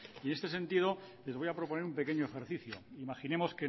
este sentido les voy a proponer un pequeño ejercicio imaginemos